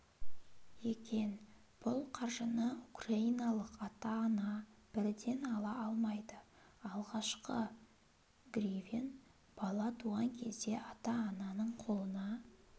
екен бұл қаржыны украиналық ата-ана бірден ала алмайды алғашқы гривен бала туған кезде ата-ананың қолына